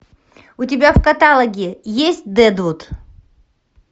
у тебя в каталоге есть дэдвуд